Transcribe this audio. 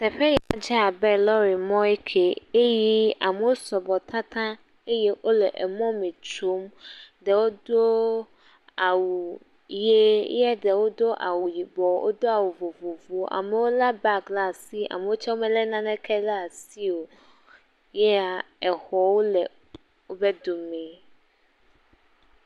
Teƒe ya dze abe lɔ̃rimɔ kee, eye amewo sɔgbɔ tataŋ, eye wole emɔ me tsom, eye ɖewo do awu ye, ye ɖewo do awu yibɔ, wodo awu vovovowo amewo lé han bag ɖe asi, amewo tsɛ melé naneke ɖe asi o, yea exwo le wo domee.